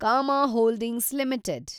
Kama holdings limited